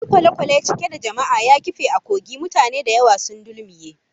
Wani kwale-kwale cike da jama'a ya kife a kogi, mutane da yawa sun dulmuye